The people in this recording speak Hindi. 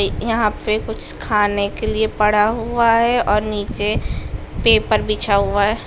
यहाँ पे कुछ खाने के लिए पड़ा हुआ है और नीचे पेपर बिछा हुआ है।